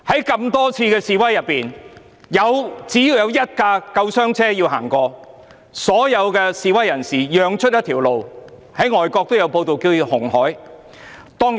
在多次示威活動中，只要有一輛救護車需要通過，所有示威人士都會讓出一條路——外國也有報道，將之稱為"紅海"。